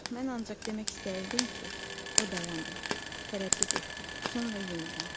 Oh, mən ancaq demək istəyirdim ki, o dayandı, tərəddüd etdi, sonra yenidən.